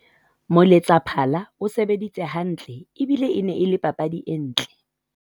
moletsaphala o sebeditse hantle ebile e ne e le papadi e ntle